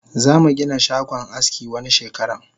Zamu Gina shagon aski wani shekaran